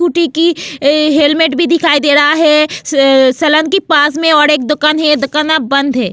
बूटी की हेलमेट भी दिखाई दे रहा है सलन के पास में और एक दुकान है दुकान अब बंद है.